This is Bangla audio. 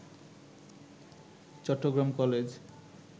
চট্টগ্রাম কলেজ